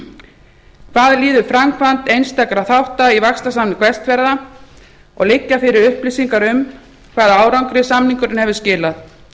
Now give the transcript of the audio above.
fyrstu hvað líður framkvæmd einstakra þátta í vaxtarsamningi vestfjarða og liggja fyrir upplýsingar um hvaða árangri samningurinn hefur skilað